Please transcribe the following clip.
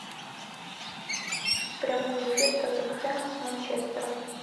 прямой эфир тоттенхэма с манчестером